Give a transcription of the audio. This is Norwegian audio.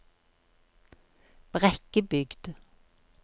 Brekkebygd